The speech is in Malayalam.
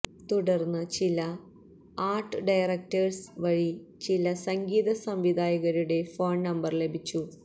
തുടർന്ന് ചില ആർട് ഡയറക്ടേഴ്സ് വഴി ചില സംഗീത സംവിധായകരുടെ ഫോൺ നമ്പർ ലഭിച്ചു